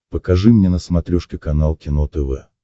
покажи мне на смотрешке канал кино тв